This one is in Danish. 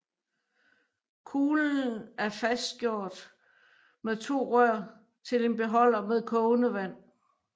Kuglen af fastgjort med to rør til en beholder med kogende vand